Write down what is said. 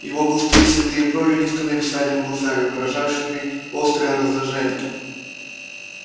его густые седые брови низко нависали над глазами выражавшими острое раздражение